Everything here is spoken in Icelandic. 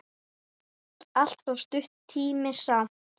Allt of stuttur tími samt.